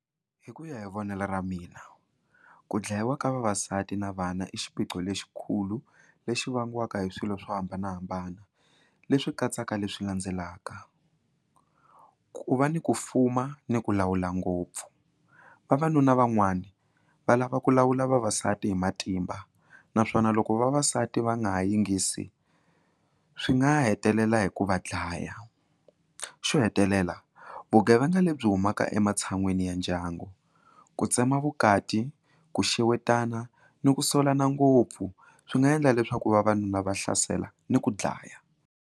Hi ku ya hi vonelo ra mina ku dlayiwa ka vavasati na vana i xiphiqo lexikulu lexi vangiwaka hi swilo swo hambanahambana leswi katsaka leswi landzelaka, ku va ni ku fuma ni ku lawula ngopfu vavanuna van'wani va lava ku lawula vavasati hi matimba naswona loko vavasati va nga ha yingisi swi nga hetelela hi ku va dlaya xo hetelela vugevenga lebyi humaka ematshan'wini ya ndyangu ku tsema vukati ku xewetana ni ku solana ngopfu swi nga endla leswaku vavanuna va hlasela ni ku dlaya.